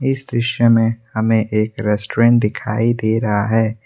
इस दृश्य में हमें एक रेस्टोरेंट दिखाई दे रहा है।